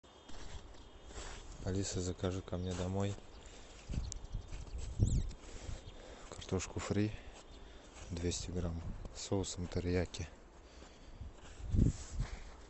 алиса закажи ко мне домой картошку фри двести грамм с соусом терияки